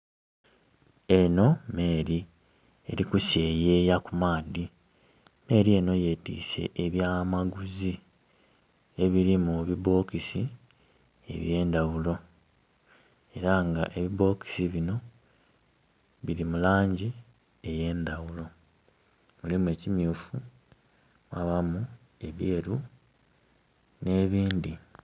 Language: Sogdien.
Eno meeri eli kuseyeeya ku maadhi. Meeri ehno yetiise ebyamaguzi ebili mubibokisi ebyendawulo era nga ebibokisi bino bili mulangi eyendawulo. Mulimu ekimyufu mwabamu egeeru ne bindhi